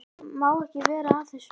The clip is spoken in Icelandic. Má ekki vera að þessu lengur.